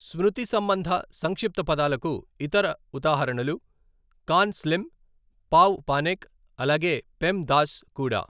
స్మృతి సంబంధ సంక్షిప్త పదాలకు ఇతర ఉదాహరణలు 'కాన్ స్లిమ్ ', 'పావ్ పానిక్' అలాగే 'పెం దాస్' కూడా.